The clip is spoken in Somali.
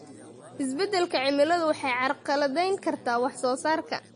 Isbeddelka cimiladu waxay carqaladayn kartaa wax soo saarka.